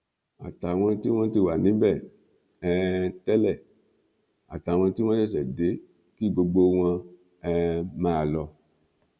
àtàwọn tí wọn ti wà níbẹ um tẹlẹ àtàwọn tí wọn ṣẹṣẹ dé kí gbogbo wọn um máa lọ